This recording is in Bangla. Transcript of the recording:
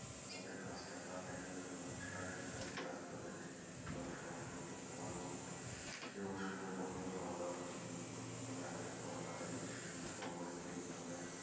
আমাদের কাজটাও তাড়াতাড়ি হয়ে যাবে, আমাদের সারাদিনে যে কাজ গুলো থাকে সেই কাজ গুলো আমরা সকাল সকাল করতে পারবো এবং সময় মতো খাওয়া দাওয়া ঠিক মতন করতে হবে রাতের খাওয়া তাড়াতাড়ি, সন্ধ্যার পরে খেয়ে নিতে হবে,